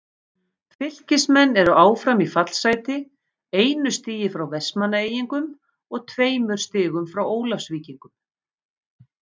Fylkismenn eru áfram í fallsæti, einu stigi frá Vestmannaeyingum og tveimur stigum frá Ólafsvíkingum.